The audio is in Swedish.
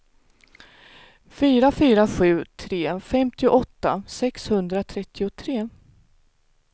fyra fyra sju tre femtioåtta sexhundratrettiotre